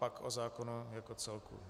Pak o zákonu jako celku.